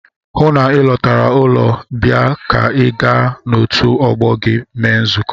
Hụụ na Ị lọtara ụlọ bịa ka gị na otu ọgbọ gị mee nzukọ!